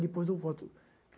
Depois eu volto.